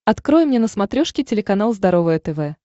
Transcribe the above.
открой мне на смотрешке телеканал здоровое тв